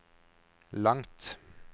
langt